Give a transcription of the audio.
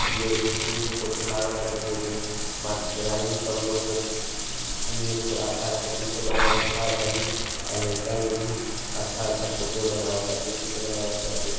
ई एगो स्कूल के फोटो लगता जैमे मास्टराइन सब लोग के ऊ ऊ चि अच्छा-अच्छा चित्र बनावे सिखावतारी। आ लाइका लोग भी अच्छा-अच्छा फोटो बनावा ताटे चित्र बनावा ताटे |